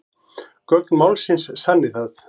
Gögn málsins sanni það